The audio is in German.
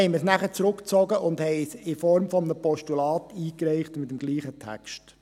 Deshalb haben wir sie dann zurückgezogen und in Form eines Postulats eingereicht, mit demselben Text.